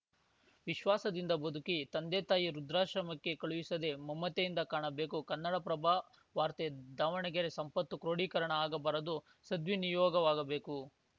ವಿಶ್ವಾಸದಿಂದ ಬದುಕಿ ತಂದೆತಾಯಿ ವೃದ್ಧಾಶ್ರಮಕ್ಕೆ ಕಳುಹಿಸದೇ ಮಮತೆಯಿಂದ ಕಾಣಬೇಕು ಕನ್ನಡಪ್ರಭ ವಾರ್ತೆ ದಾವಣಗೆರೆ ಸಂಪತ್ತು ಕ್ರೋಡೀಕರಣ ಆಗಬಾರದು ಸದ್ವಿನಿಯೋಗವಾಗಬೇಕು